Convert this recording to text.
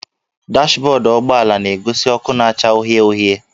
Dashbọdụ ụgbọala na-egosi ọkụ na-acha uhie uhie